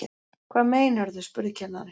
Hvað meinarðu? spurði kennarinn.